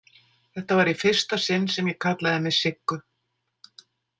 Þetta var í fyrsta sinn sem ég kallaði mig Siggu.